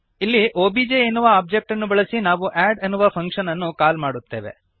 ಇಲ್ಲಿ ಒಬಿಜೆ ಎನ್ನುವ ಒಬ್ಜೆಕ್ಟ್ಅನ್ನು ಬಳಸಿ ನಾವು ಅಡ್ ಎನ್ನುವ ಫಂಕ್ಶನ್ ಅನ್ನು ಕಾಲ್ ಮಾಡುತ್ತೇವೆ